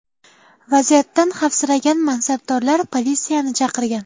Vaziyatdan xavfsiragan mansabdorlar politsiyani chaqirgan.